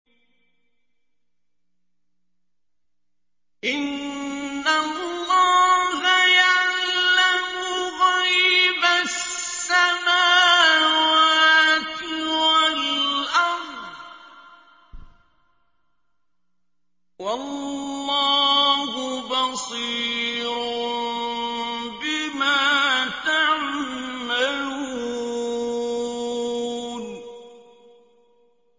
إِنَّ اللَّهَ يَعْلَمُ غَيْبَ السَّمَاوَاتِ وَالْأَرْضِ ۚ وَاللَّهُ بَصِيرٌ بِمَا تَعْمَلُونَ